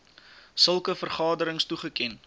sulke vergaderings toegeken